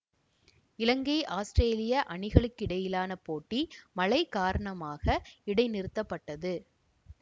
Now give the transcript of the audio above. இலங்கை அவுஸ்திரேலிய அணிகளுக்கிடையிலான போட்டி மழை காரணமாக இடைநிறுத்தப்பட்டது